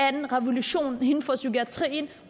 en revolution inden for psykiatrien